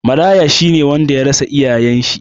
Maraya shi ne wanda ya rasa iyayen shi.